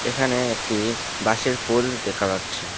এখানে একটি বাঁশের পোল দেখা যাচ্ছে।